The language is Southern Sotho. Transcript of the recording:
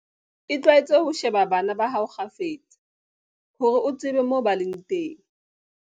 Itlwaetse ho sheba bana ba hao kgafetsa, hore o tsebe moo ba leng teng.